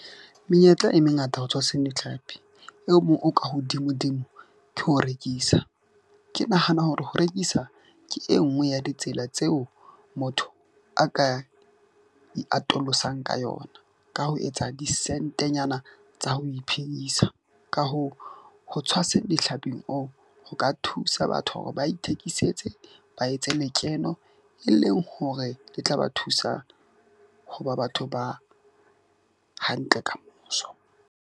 Menyetla e mengata ho tshwaseng ditlhapi eo moo o ka hodimo dimo ke ho rekisa. Ke nahana hore ho rekisa ke e nngwe ya ditsela tseo motho a ka e atolosang ka yona. Ka ho etsa disentenyana tsa ho iphedisa. Ka hoo, ho tshwasa dihlaping oo ho ka thusa batho hore ba ithekisetse, ba etse lekeno, e leng hore e tla ba thusa ho ba batho ba hantle kamoso.